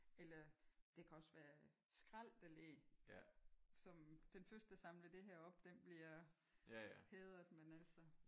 Eller det kan også være skrald der ligger som den første der samler det her op den bliver hædret men altså